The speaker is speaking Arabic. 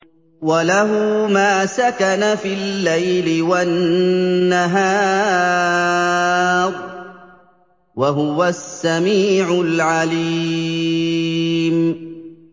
۞ وَلَهُ مَا سَكَنَ فِي اللَّيْلِ وَالنَّهَارِ ۚ وَهُوَ السَّمِيعُ الْعَلِيمُ